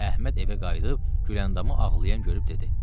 Əhməd evə qayıdıb Güləndamı ağlayan görüb dedi.